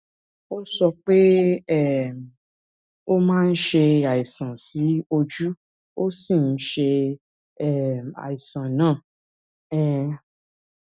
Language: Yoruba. ó sọ pé um ó máa ń ṣe àìsàn sí ojú ó sì ń ṣe um àìsàn náà um